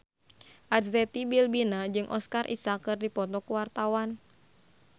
Arzetti Bilbina jeung Oscar Isaac keur dipoto ku wartawan